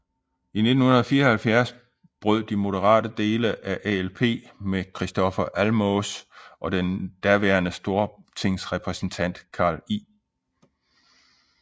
I 1974 brød de moderate dele af ALP med Kristofer Almås og daværende stortingsrepræsentant Carl I